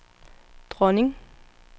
dronning